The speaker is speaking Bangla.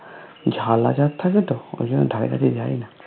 ঝাল আচার থাকে তো অরজন্য ধারের কাছে যায় না